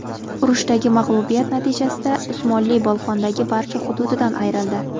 Urushdagi mag‘lubiyat natijasida Usmonli Bolqondagi barcha hududidan ayrildi.